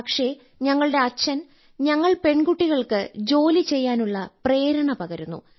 പക്ഷേ ഞങ്ങളുടെ അച്ഛൻ ഞങ്ങൾ പെൺകുട്ടികൾക്ക് ജോലി ചെയ്യാനുള്ള പ്രേരണ പകരുന്നു